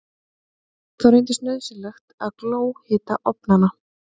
Þá reyndist nauðsynlegt að glóhita ofnana.